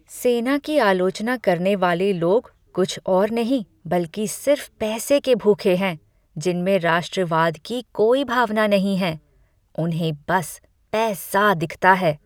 सेना की आलोचना करने वाले लोग कुछ और नहीं बल्कि सिर्फ पैसे के भूखे हैं जिनमें राष्ट्रवाद की कोई भावना नहीं है। उन्हें बस पैसा दिखता है।